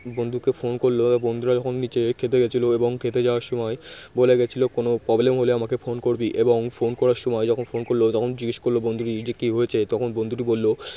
বন্ধুকে phone করল বন্ধুরা যখন নিচে খেতে গিয়েছিল এবং খেতে যাওয়ার সময় বলে গেছিল কোন problem হলে আমাকে phone করবি এবং phone করার সময় যখন phone করল তখন জিজ্ঞেস করল বন্ধুটি কি হয়েছে তখন বন্ধুটি বলল